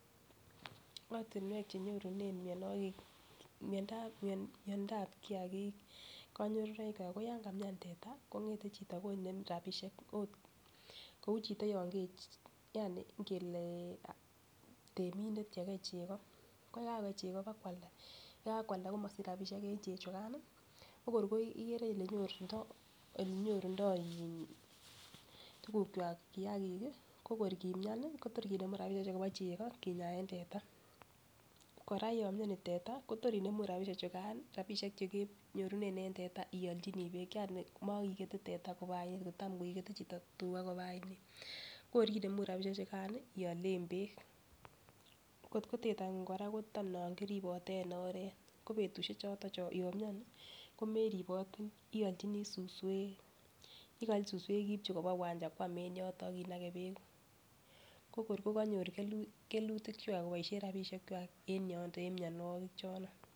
Ortinwek chenyorune mionwokik miondap miondap kiyakik konyorunoik ko yon kamian teta kongete chito konem rabishek kou chito yon Kee yani ngele temindet yekei cheko ko yegakokei cheko kwalda yekakwalda komosich rabishek en chechukan ko kor ikere kole nyorundo iin tukuk kwak kiyakik kii ko kor kimian Kotor kinemu rabishek chuu Kobo cheko kinyaen teta. Koraa ko yon mioni teta Kotor inemu rabishek chukan rabishek chekenyorunen en teta iolchinii beek yani mokekete tata koba oinet kotam ikete chito koba oinet. Ko kor inemu rabishek chukan nii iolen beek, kotko tetangu Koraa ko non kiribote en oret ko betushek choton yon mioni komeribotii iolchinii suswek, yekeolchi suswek ibchi koba wancha kwam en yoton ak inake beek ko kor kokonyor kelu kelutik kwak koboishen rabishek kwam en yondet en mionwokik chono.